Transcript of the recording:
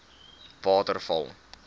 waterval